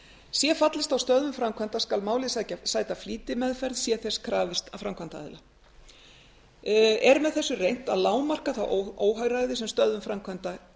sé fallist á stöðvun framkvæmda skal málið sæta flýtimeðferð sé þess krafist af framkvæmdaaðila er með þessu reynt að lágmarka það óhagræði sem stöðvun framkvæmda